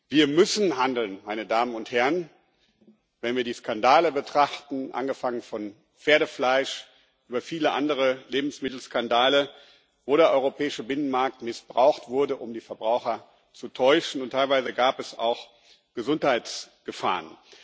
Wir müssen handeln, wenn wir die Skandale betrachten angefangen von Pferdefleisch über viele andere Lebensmittelskandale, wo der europäische Binnenmarkt missbraucht wurde, um die Verbraucher zu täuschen, und teilweise gab es auch Gesundheitsgefahren.